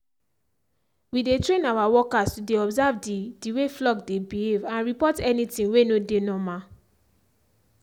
we dey train our workers to dey observe the the way flock dey behave and report any thing way no dey normal